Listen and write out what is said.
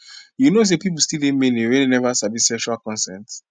you know say people still dey many we never sabi sexual consent